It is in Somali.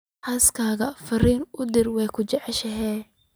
xaaskayga fariin u dir waan ku jeclahay